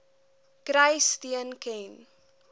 kry steun ken